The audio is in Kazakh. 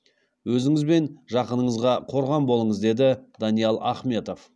өзіңіз бен жақыныңызға қорған болыңыз деді даниал ахметов